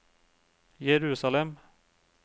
Jerusalem